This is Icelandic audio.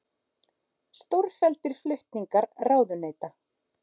Stórfelldir flutningar ráðuneyta